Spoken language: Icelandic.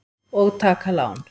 Og taka lán.